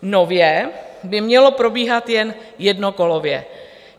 Nově by mělo probíhat jen jednokolově.